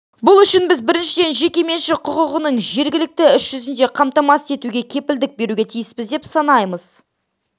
бұл үшін біз біріншіден жекеменшік құқығының беріктігін іс жүзінде қамтамасыз етуге кепілдік беруге тиіспіз деп санаймыз